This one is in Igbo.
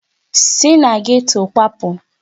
Si na geto kwapụ!